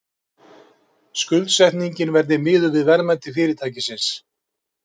Skuldsetningin verði miðuð við verðmæti fyrirtækisins